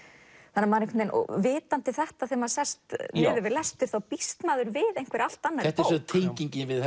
þannig að vitandi þetta þegar maður sest við lestur býst maður við einhverri allt annarri bók þetta er tengingin við